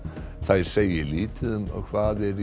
þær segi lítið um hvað er